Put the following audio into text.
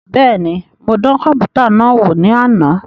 Bẹẹni, mo dàn kọnputa náà wò ní àna